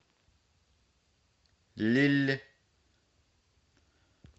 лилль